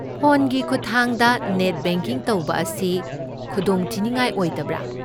ꯐꯣꯟꯒꯤ ꯈꯨꯠꯊꯥꯡꯗ net banking ꯇꯧꯕ ꯑꯁꯤ ꯈꯨꯗꯣꯡꯊꯤꯅꯤꯡꯉꯥꯏ ꯑꯣꯏꯗꯕ꯭ꯔꯥ?